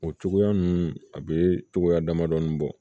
O cogoya ninnu a bɛ cogoya damadɔɔni bɔ